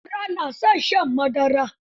Yara na son shan madara.